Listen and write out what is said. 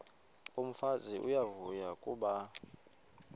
umfazi uyavuya kuba